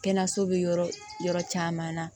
Kɛnɛyaso bɛ yɔrɔ yɔrɔ caman na